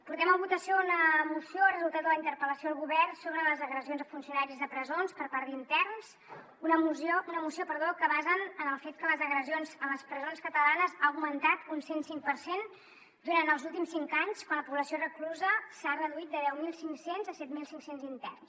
portem a votació una moció resultat de la interpel·lació al govern sobre les agressions a funcionaris de presons per part d’interns una moció que basen en el fet que les agressions a les presons catalanes han augmentat un cent cinc per cent durant els últims cinc anys quan la població reclusa s’ha reduït de deu mil cinc cents a set mil cinc cents interns